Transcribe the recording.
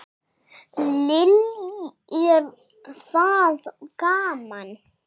Lillý: Er það gaman?